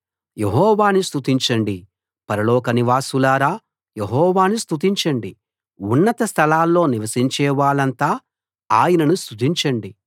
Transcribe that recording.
యెహోవాను స్తుతించండి పరలోక నివాసులారా యెహోవాను స్తుతించండి ఉన్నత స్థలాల్లో నివసించేవాళ్ళంతా ఆయనను స్తుతించండి